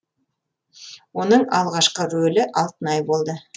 оның алғашқы рөлі алтынай болды